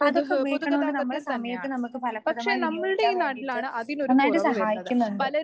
അതൊക്കെ ഉപയോഗിക്കണകൊണ്ട് നമ്മളെ സമയത്ത് നമുക്ക് ഫലപ്രദമായി വിനിയോഗിക്കാൻ വേണ്ടിയിട്ട് നന്നായിട്ട് സഹായിക്കുന്നുണ്ട്.